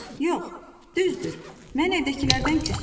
Yox, düzdür, mən evdəkilərdən küsmüşəm.